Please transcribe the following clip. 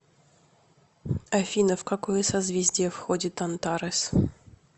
афина в какое созвездие входит антарес